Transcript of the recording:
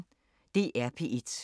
DR P1